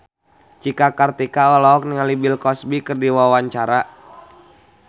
Cika Kartika olohok ningali Bill Cosby keur diwawancara